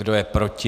Kdo je proti?